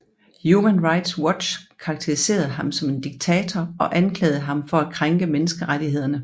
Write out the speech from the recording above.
Human Rights Watch karakteriserede ham som en diktator og anklagede ham for at krænke menneskerettighederne